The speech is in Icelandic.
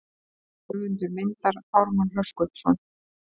Höfundur myndar Ármann Höskuldsson.